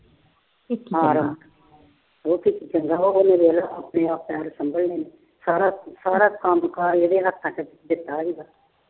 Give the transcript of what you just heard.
ਉਹ ਚੰਗਾ ਹੋ ਗਿਆ ਆਪਣੇ ਆਪ ਪੈਰ ਸੰਭਲਣੇ। ਸਾਰਾ ਕੰਮ ਕਾਜ ਇਹਦੇ ਹੱਥਾਂ ਚ ਦਿੱਤਾ ਸੀਗਾ।